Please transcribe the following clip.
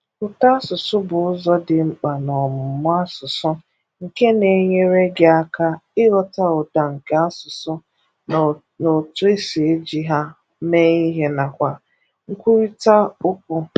Ụtọasụsụ bụ ụzọ dị mkpa n'ọmụmụ asụsụ nke na-enyere gị aka ịghọta ụda nke asụsụ na otu e si eji ha mee ihe nakwa nkwurịta okwu